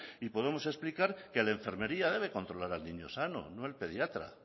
y podemos explicar que la enfermería debe controlar al niño sano no el pediatra